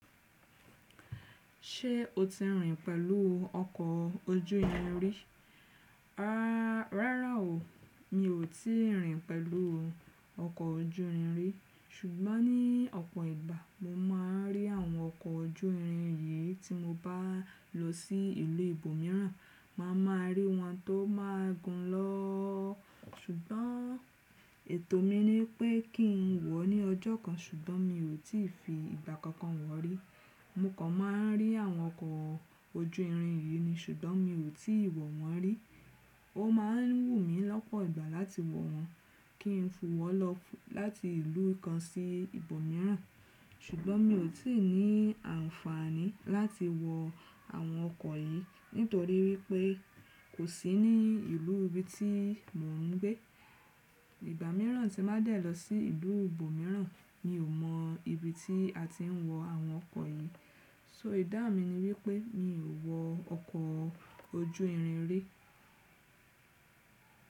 Ṣé o ti rìn pẹ̀lú ọkọ̀ ojú irin rí? Rárá o, mi ò tíì rìn pẹ̀lú ọkọ̀ ojú irin rí. Ṣùgbọ́n ní ọ̀pọ̀ ìgbà mo máa ń rí àwọn ọkọ̀ ojú irin yìí tí mo bá lọ sí ìlú ibòmíràn. Má a máa rí wọn tó máa gùn lọ. Ṣùgbọ́n ètò mi ni pé kí n wọ̀ ọ́ ní ọjọ́ kan, ṣùgbọ́n mi ò tí fi ìgbà kankan wọ̀ rí. Mo kan máa ń rí àwọn ọkọ̀ ojú irin yìí ni, ṣùgbọ́n mi ò tí ì wọ̀ wọ́n rí. Ó máa ń wù mí lọ́pọ̀ ìgbà láti wọ̀ wọ́n, kí n fù wọ́ lọ láti ìlú kan sí ibòmíràn. Ṣùgbọ́n mi ò tí ì ní àǹfààní láti wọ àwọn ọkọ̀ yìí nítorí wípé kò sí ní ìlú ibi tí mò ń gbé. Ìgbà míràn tí má dẹ lọ sí ìlú ibòmíràn, mi ò mọ ibi tí a ti ń wọ àwọn ọkọ̀ yìí. So idán mi ni wípé mi ò wọ ọkọ̀ ojú irin rí.